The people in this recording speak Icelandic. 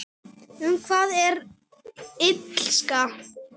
Um hvað er Illska?